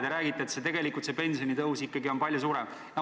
Te räägite, et see pensionitõus on ikkagi palju suurem.